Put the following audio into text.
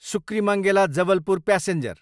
सुक्रिमङ्गेला, Jabalpur passenger